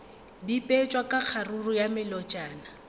bipetšwe ka kgaruru ya melotšana